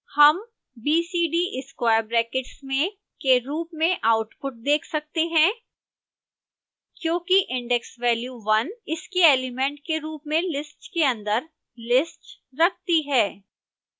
हम b c d square brackets में के रूप में आउटपुट देख सकते हैं क्योंकि index value one इसके एलिमेंट के रूप में list के अंदर list रखती है